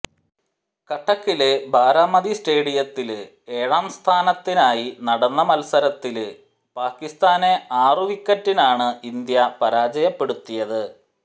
കട്ടകിലെ ബാരാമതി സ്റ്റേഡിയത്തില് ഏഴാം സ്ഥാനത്തിനായി നടന്ന മത്സരത്തില് പാകിസ്ഥാനെ ആറു വിക്കറ്റിനാണ് ഇന്ത്യ പരാജയപ്പെടുത്തിയത്